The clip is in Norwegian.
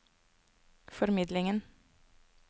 formidlingen